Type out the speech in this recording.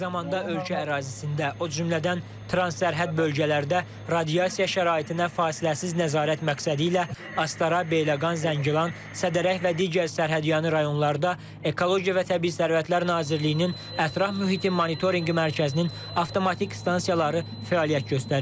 Eyni zamanda ölkə ərazisində, o cümlədən transsərhəd bölgələrdə radiasiya şəraitinə fasiləsiz nəzarət məqsədilə Astara, Beyləqan, Zəngilan, Sədərək və digər sərhədyanı rayonlarda Ekologiya və Təbii Sərvətlər Nazirliyinin ətraf mühitin monitorinqi mərkəzinin avtomatik stansiyaları fəaliyyət göstərir.